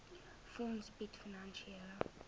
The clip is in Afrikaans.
fonds bied finansiële